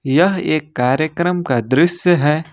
यह एक कार्यक्रम का दृश्य है।